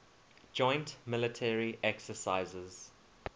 joint military exercises